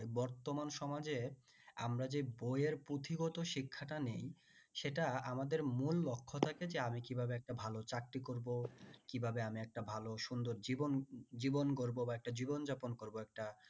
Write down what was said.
বর্তমান সমাজে আমরা যে বই এর পুথিগত শিক্ষাটা নিই সেটা আমাদের মূল লক্ষ থাকে যে আমি কিভাবে ভালো চাকরি করবো কিভাবে একটা ভালো সুন্দর জীবন গড়ব বা একটা জীবন যাপন করবো একটা